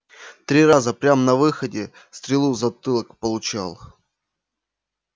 три раза прям на выходе стрелу в затылок получал